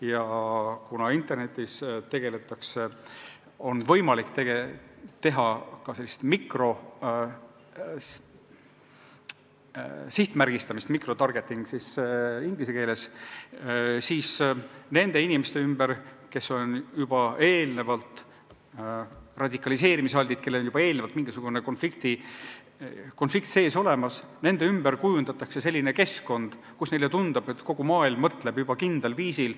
Ja kuna internetis on võimalik teha ka sellist mikrosihtmärgistamist – microtargeting siis inglise keeles –, siis nende inimeste ümber, kes on radikaliseerumisaltid, kellel teatakse sees olevat mingisugune konflikt, kujundatakse selline keskkond, kus neile tundub, et kogu maailm mõtleb juba kindlal viisil.